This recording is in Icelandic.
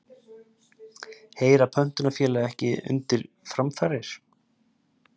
Heyra pöntunarfélög ekki undir framfarir?